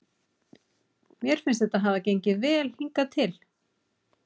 Mér finnst þetta hafa gengið vel hingað til.